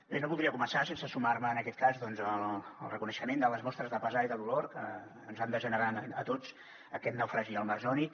bé no voldria començar sense sumar me en aquest cas al reconeixement de les mostres de pesar i de dolor que ens han de generar a tots aquest naufragi al mar jònic